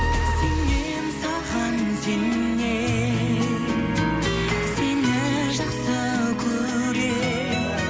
сенемін саған сенемін сені жақсы көремін